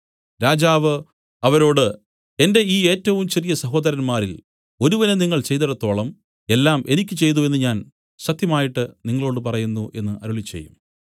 രാജാവ് അവരോട് എന്റെ ഈ ഏറ്റവും ചെറിയ സഹോദരന്മാരിൽ ഒരുവന് നിങ്ങൾ ചെയ്തേടത്തോളം എല്ലാം എനിക്ക് ചെയ്തു എന്നു ഞാൻ സത്യമായിട്ട് നിങ്ങളോടു പറയുന്നു എന്നു അരുളിച്ചെയ്യും